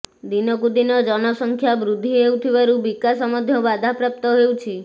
ଦିନକୁ ଦିନ ଜନସଂଖ୍ୟା ବୃଦ୍ଧି ହେଉଥିବାରୁ ବିକାଶ ମଧ୍ୟ ବାଧାପ୍ରାପ୍ତ ହେଉଛି